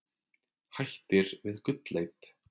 Hættir við gullleit